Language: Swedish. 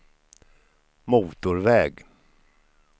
motorväg